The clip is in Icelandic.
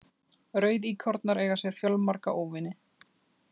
Rauðíkornar eiga sér fjölmarga óvini.